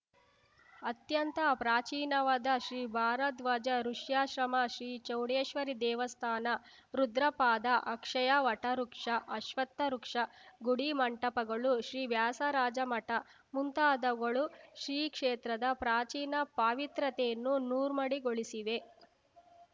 ಅತ್ಯಂತ ಪ್ರಾಚೀನವಾದ ಶ್ರೀ ಭಾರದ್ವಾಜ ಋುಷ್ಯಾಶ್ರಮ ಶ್ರೀ ಚೌಡೇಶ್ವರಿ ದೇವಸ್ಥಾನ ರುದ್ರಪಾದ ಅಕ್ಷಯ ವಟವೃಕ್ಷ ಅಶ್ವತ್ಥವೃಕ್ಷ ಗುಡಿಮಂಟಪಗಳು ಶ್ರೀ ವ್ಯಾಸರಾಜಮಠ ಮುಂತಾದವುಗಳು ಈ ಕ್ಷೇತ್ರದ ಪ್ರಾಚೀನ ಪಾವಿತ್ರ್ಯತೆಯನ್ನು ನೂರ್ಮಡಿಗೊಳಿಸಿವೆ